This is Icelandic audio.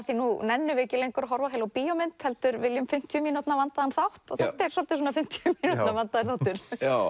því nú nennum við ekki að horfa á heila bíómynd heldur viljum fimmtíu mínútna vandaðan þátt og þetta er svolítið svona fimmtíu mínútna vandaður þáttur